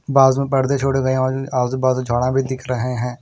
बाजु में पर्दे छोड़े गय और आजू बाजू झाडा भी दिख रहे है।